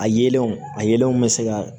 A yelenw a yelenw bɛ se ka